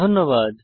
ধন্যবাদ